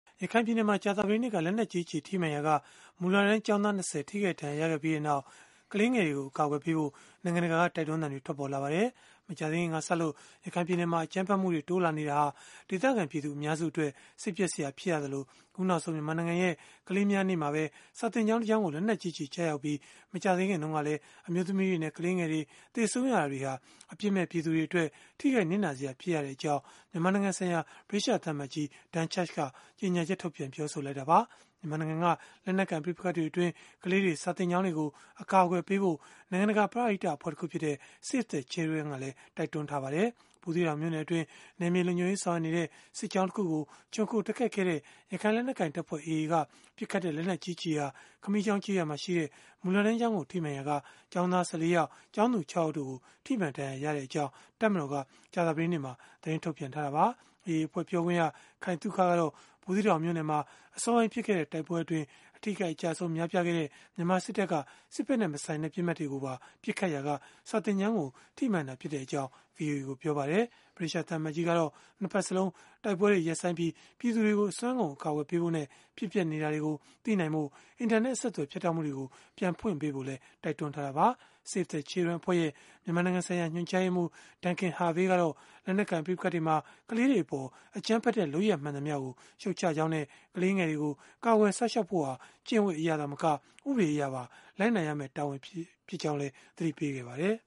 ရခိုင်ပြည်နယ်မှာ ကြာသပတေးနေ့က လက်နက်ကြီးကျည် ထိမှန်ရာက မူလတန်းကျောင်းသား ကလေး ၂၀ ထိခိုက်ဒဏ်ရာရခဲ့ပြီးနောက် ကလေးငယ်တွေကို အကာအကွယ်ပေးဖို့ နိုင်ငံတကာက တိုက်တွန်းသံတွေ ထွက်ပေါ်လာပါတယ်။ မကြာသေးခင်ကစလို့ ရခိုင်ပြည်နယ်မှာ အကြမ်းဖက်မှုတွေ တိုးလာနေတာဟာ ဒေသခံပြည်သူအများစုအတွက် စိတ်ပျက်စရာ ဖြစ်ရသလို၊ အခုနောက်ဆုံး မြန်မာနိုင်ငံရဲ့ ကလေးများနေ့မှာပဲ စာသင်ကျောင်းတစ်ကျောင်းကို လက်နက်ကြီးကျရောက်ခဲ့ပြီး၊ မကြာသေးခင်တုန်းကလည်း အမျိုးသမီးတွေနဲ့ ကလေးငယ်တွေ သေဆုံးရတာတွေဟာ အပြစ်မဲ့ပြည်သူတွေအတွက် ထိခိုက်နစ်နာစရာ ဖြစ်ရကြောင်းလည်း မြန်မာနိုင်ငံဆိုင်ရာ ဗြိတိသျှသံအမတ်ကြီး Dan Chugg က ကြေညာချက်ထုတ်ပြန် ပြောဆိုခဲ့တာပါ။ ဘူသီးတောင်မြို့နယ်အတွင်း နယ်မြေလုံခြုံရေးဆောင်ရွက်နေတဲ့ စစ်ကြောင်းတခုကို ခြုံခိုတိုက်ခိုက်ခဲ့တဲ့ ရခိုင်လက်နက်ကိုင်တပ်ဖွဲ့ (AA) က ပစ်ခတ်တဲ့ လက်နက်ကြီးကျည်ဟာ ခမီးချေင်းကျေးရွာမှာရှိတဲ့ မူလတန်းကျောင်းကို ထိမှန်ရာက ကျောင်းသား ၁၄ ယောက်၊ ကျောင်းသူ ၆ ယောက်တို့ကို ထိမှန်ဒဏ်ရာရခဲ့ကြောင်း တပ်မတော်က ကြာသပတေးနေ့မှာပဲ သတင်းထုတ်ပြန်ထားတာပါ။ AA အဖွဲ့ ပြောခွင့်ရ ခိုင်သုခကတော့ ဘူးသီးတောင်မြို့နယ်မှာ အစောပိုင်း ဖြစ်ခဲ့တဲ့ တိုက်ပွဲအတွင်း အထိအခိုက်အကျအဆုံး များပြားခဲ့တဲ့ မြန်မာစစ်တပ်က စစ်ဖက်နဲ့မဆိုင်တဲ့ ပစ်မှတ်တွေကိုပါ ပစ်ခတ်ခဲ့ရာက စာသင်ကျောင်းကို ထိမှန်ခဲ့တာဖြစ်ကြောင်း ဗွီအိုအေကို ပြောပါတယ်။ ဗြိတိသျှသံအမတ်ကြီးကတော့ ၂ ဘက်စလုံး တိုက်ပွဲတွေ ရပ်ဆိုင်းပြီး၊ ပြည်သူတွေကို အစွမ်းကုန် အကာအကွယ်ပေးဖို့နဲ့ ဖြစ်ပျက်နေတာတွေကို သိနိုင်ဖို့ အင်တာနက်အဆက်အသွယ် ဖြတ်တောက်မှုတွေကို ပြန်ဖွင့်ပေးဖို့လည်း တိုက်တွန်းထားတာပါ။ Save the Children အဖွဲ့ရဲ့ မြန်မာနိုင်ငံဆိုင်ရာ ညွှန်ကြားရေးမှူး Duncan Harvey ကတော့ လက်နက်ကိုင် ပဋိပက္ခတွေအတွင်း ကလေးတွေအပေါ် အကြမ်းဖက်တဲ့ လုပ်ရပ်မှန်သမျှကို ရှုတ်ချကြောင်းနဲ့ ကလေးငယ်တွေကို ကာကွယ်စောင့်ရှောက်ဖို့ဟာ ကျင့်ဝတ်အရသာမက၊ ဥပဒေအရပါ လိုက်နာရမယ့် တာဝန်တရပ်ဖြစ်ကြောင်းလည်း သတိပေးခဲ့ပါတယ်